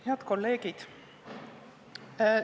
Head kolleegid!